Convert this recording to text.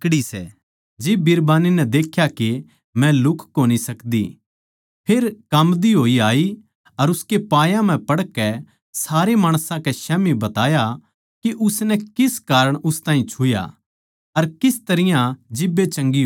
जिब बिरबान्नी नै देख्या के मै लुह्क कोनी सकदी फेर काम्बदी होई आई अर उसकै पायां पै पड़कै सारे माणसां कै स्याम्ही बताया के उसनै किस कारण उस ताहीं छुया अर किस तरियां जिब्बे चंगी होई